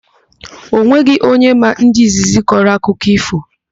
Onweghị onye maa ndị izizi kọrọ akụkọ ífò.